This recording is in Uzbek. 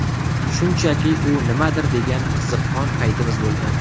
Shunchaki, u nimadir degan, qiziqqon paytimiz bo‘lgan.